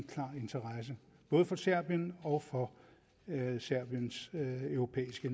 interesse både for serbien og for serbiens europæiske